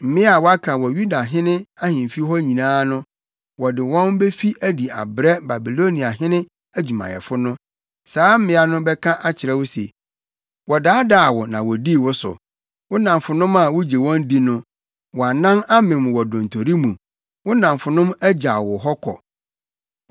Mmea a wɔaka wɔ Yudahene ahemfi hɔ nyinaa no, wɔde wɔn befi adi abrɛ Babiloniahene adwumayɛfo no. Saa mmea no bɛka akyerɛ wo se, “ ‘Wɔdaadaa wo na wodii wo so wo nnamfonom a wugye wɔn di no. Wʼanan amem wɔ dontori mu; wo nnamfonom agyaw wo hɔ kɔ.’